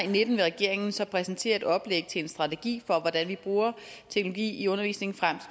og nitten vil regeringen så præsentere et oplæg til en strategi hvordan vi bruger teknologi i undervisningen frem